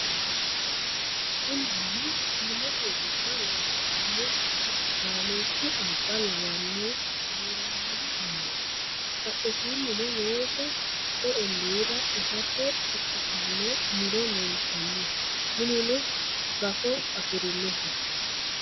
Kuni mini Gaamote gosa loosidhanno daanichu alba lawanno gallanni mineeti. Badheesinnino weese hakko olliira itate ikkitanno muro leeltanno. Minuno gafo afirinoho.